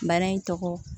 Bana in tɔgɔ